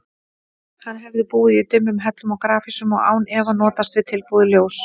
Hann hefði búið í dimmum hellum og grafhýsum og án efa notast við tilbúið ljós.